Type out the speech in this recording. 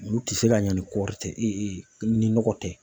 Olu tɛ se ka ɲɛ ni kɔɔri tɛ, e e ni nɔgɔ tɛ.